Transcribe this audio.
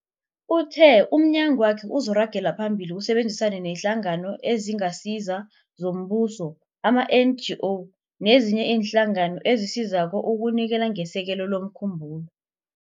Uthe umnyagwakhe uzoragela phambili usebenzisane neeNhlangano eziNgasizo zoMbuso, ama-NGO, nezinye iinhlangano ezisizako ukunikela ngesekelo lomkhumbulo.